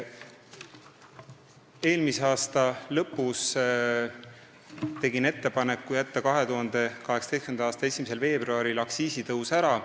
Eelmise aasta lõpus tegin ma ettepaneku jätta 2018. aasta 1. veebruaril aktsiisitõus ära.